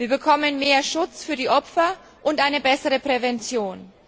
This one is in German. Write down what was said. Wir bekommen mehr Schutz für die Opfer und eine bessere Prävention.